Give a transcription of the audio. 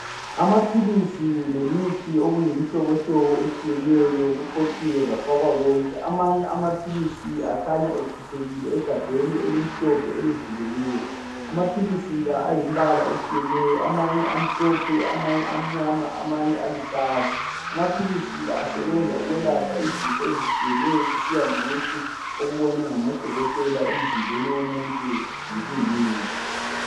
Amaphilisi lemithi okuyimhlobohlobo etshiyeneyo kuqoqiwe kwafakwa konke, amanye amaphilisi akhanya echithekile egabheni elimhlophe elivuliweyo. Amaphilisi la ayimbala etshiyeneyo amanye asebenza ukwelapha okutshiyeneyo amanye amhlophe, amanye amnyama, amanye aluhlaza. Amaphilisi la asebenza ukwelapha izifo ezitshiyeneyo sekusiya ngokuthi okubonwe ngamadokotela emzimbeni womuntu yikuyini.